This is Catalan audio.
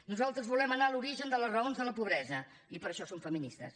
nosaltres volem anar a l’origen de les raons de la pobresa i per això som feministes